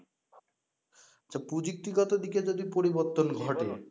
আচ্ছা প্রযুক্তিগত দিকে যদি পরিবর্তন ঘটে